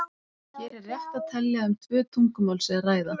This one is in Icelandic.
Hér er rétt að telja að um tvö tungumál sé að ræða.